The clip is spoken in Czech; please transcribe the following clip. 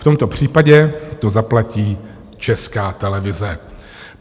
V tomto případě to zaplatí Česká televize.